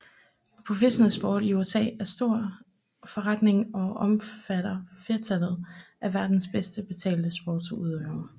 Professionel sport i USA er stor forretning og omfatter flertallet af verdens bedst betalte sportsudøvere